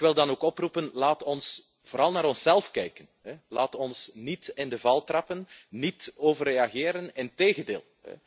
Ik wil er dan ook toe oproepen laat ons vooral naar onszelf kijken, laat ons niet in de val trappen, niet overreageren, integendeel.